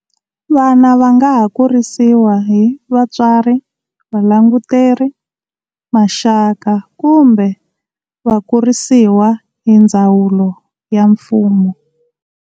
Vana vangaha kurisiwa hi vatswari, valanguteri, maxaka kumbe vakurisiwa hindzawulo ya mfumo.